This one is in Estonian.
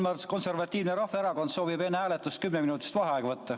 Eesti Konservatiivne Rahvaerakond soovib enne hääletust kümme minutit vaheaega võtta.